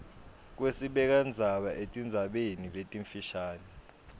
kwesibekandzaba etindzabeni letimfisha